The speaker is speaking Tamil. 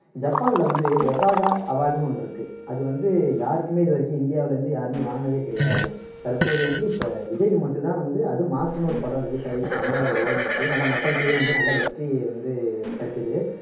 ஜப்பான்ல வந்து osaka award ஒண்ணு இருக்கு அது வந்து யாருக்குமே இது வரைக்கும் இந்தியாவுல இருந்து யாருமே வாங்குனதே கிடையாது தற்போது வந்து இப்போ விஜய்க்கு மட்டும் தான் வந்து அதும் மாஸ்டர்னு ஒரு படம் release ஆகி நல்லா ஓடுனுச்சு நல்லா மக்களிகிட்டயும் நல்ல வெற்றியை வந்து கிடைச்சுது